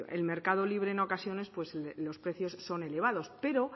el mercado libre en ocasiones pues los precios son elevados pero